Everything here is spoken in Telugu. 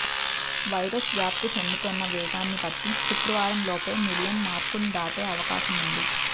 వైరస్ వ్యాప్తి చెందుతోన్న వేగాన్ని బట్టి శుక్రవారంలోపే మిలియన్ మార్కును దాటే అవకాశముంది